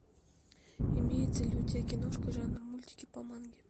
имеется ли у тебя киношка жанра мультики по манге